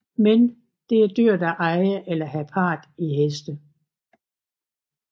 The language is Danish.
Men det er dyrt at eje eller have part i heste